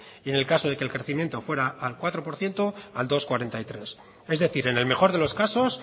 y en el caso de que el crecimiento fuera al cuatro por ciento al dos coma cuarenta y tres es decir en el mejor de los casos